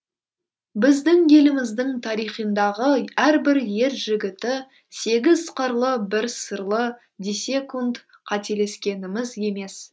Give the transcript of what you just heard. біздің еліміздің тарихындағы әрбір ер жігіті сегіз қырлы бір сырлы десекунд қателескеніміз емес